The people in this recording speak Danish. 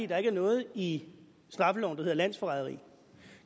der ikke er noget i straffeloven der hedder landsforræderi